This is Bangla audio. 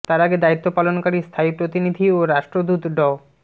তার আগে দায়িত্ব পালনকারি স্থায়ী প্রতিনিধি ও রাষ্ট্রদূত ড